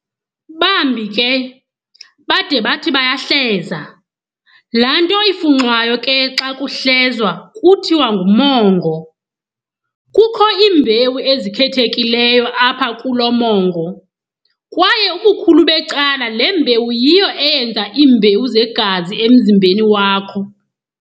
Bambi ke bade bathi bayahleza, laanto ifunxwayo ke xa kuhlezwa kuthiwa ngumongo. Kukho iimbewu ezikhethekileyo apha kulo mongo, kwaye ubukhulu becala le mbewu yiyo eyenza iimbewu zegazi emzimbeni wakho.